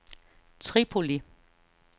Tripoli